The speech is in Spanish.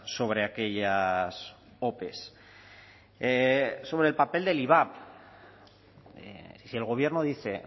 sobre aquellas ope sobre el papel del ivap si el gobierno dice